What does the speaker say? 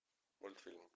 мультфильм